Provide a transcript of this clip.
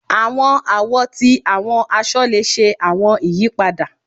Àwọn àwo ti àwọn aṣọ le ṣe àwọn ìyípadà